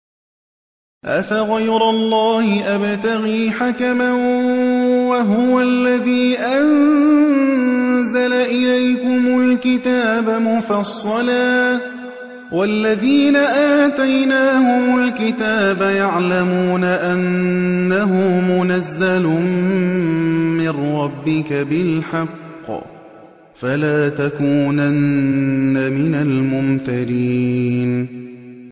أَفَغَيْرَ اللَّهِ أَبْتَغِي حَكَمًا وَهُوَ الَّذِي أَنزَلَ إِلَيْكُمُ الْكِتَابَ مُفَصَّلًا ۚ وَالَّذِينَ آتَيْنَاهُمُ الْكِتَابَ يَعْلَمُونَ أَنَّهُ مُنَزَّلٌ مِّن رَّبِّكَ بِالْحَقِّ ۖ فَلَا تَكُونَنَّ مِنَ الْمُمْتَرِينَ